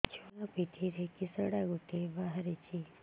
ଛୁଆ ପିଠିରେ କିଶଟା ଗୋଟେ ବାହାରିଛି